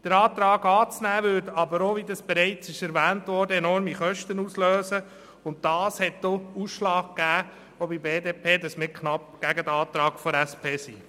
Den Antrag anzunehmen, würde aber auch – wie bereits erwähnt worden ist – enorme Kosten auslösen, und das hat bei der BDP denn auch den Ausschlag gegeben, dass sie knapp gegen den Antrag der SP-JUSO-PSA ist.